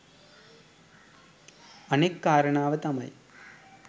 අනෙක් කාරණාව තමයි